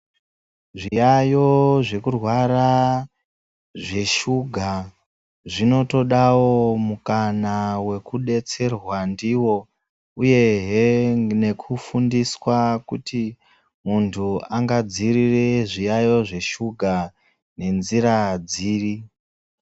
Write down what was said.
Zviyayo zvekurwara zveshuga zvinotogavo mukana vekubetserwa ndivo, uyehe nekufundiswa kuti muntu angadziirire zviyaiyo zveshuga nenzira dziri.